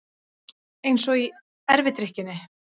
Eins og í erfidrykkjunni.